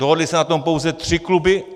Dohodly se na tom pouze tři kluby.